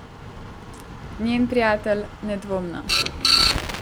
Njen prijatelj, nedvomno.